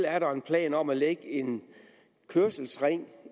er der en plan om at lægge en kørselsring